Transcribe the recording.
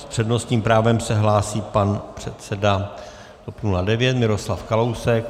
S přednostním právem se hlásí pan předseda TOP 09 Miroslav Kalousek.